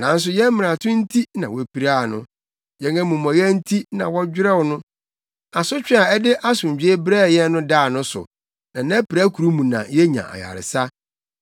Nanso yɛn mmarato nti na wopiraa no, yɛn amumɔyɛ nti na wɔdwerɛw no; asotwe a ɛde asomdwoe brɛɛ yɛn no daa no so, na nʼapirakuru mu na yenya ayaresa.